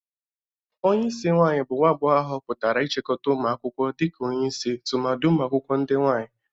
Onyeisi nwaanyị bụ nwa agbogho ahụpụtara ichịkọta ụmụ akwụkwọ dịka onyeisi tụmadị ụmụakwụkwọ ndị nwaanyị.